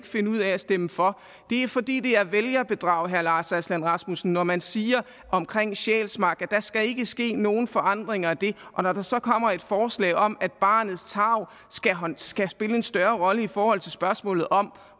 finde ud af at stemme for det er fordi det er vælgerbedrag herre lars aslan rasmussen når man siger omkring sjælsmark at skal ske nogen forandringer af det og når der så kommer et forslag om at barnets tarv skal spille en større rolle i forhold til spørgsmålet om